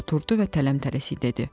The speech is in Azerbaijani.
Oturdu və tələm-tələsik dedi: